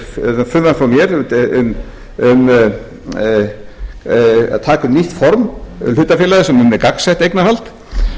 sex á dagskrá í dag frumvarp frá mér um að taka upp nýtt form hlutafélaga sem er um gagnsætt eignarhald